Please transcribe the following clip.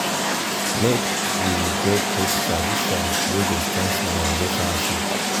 i go cherish every moment wey me and you um dey um together. um